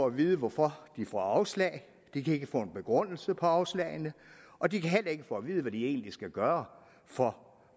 at vide hvorfor de får afslag de kan ikke få en begrundelse på afslagene og de kan heller ikke få at vide hvad de egentlig skal gøre for